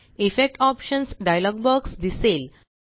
effect options dialog box दिसेल